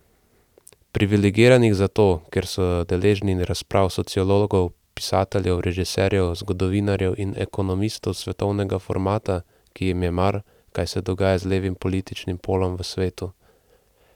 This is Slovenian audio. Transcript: Privilegiranih zato, ker so deležni razprav sociologov, pisateljev, režiserjev, zgodovinarjev in ekonomistov svetovnega formata, ki jim je mar, kaj se dogaja z levim političnim polom v svetu.